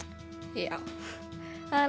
já það er